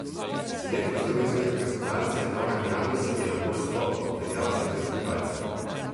Selektor slovenske reprezentance Goran Janus je na Poljsko odpeljal sedem skakalcev.